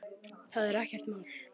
Það er ekkert mál.